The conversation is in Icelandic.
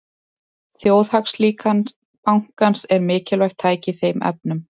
Þjóðhagslíkan bankans er mikilvægt tæki í þeim efnum.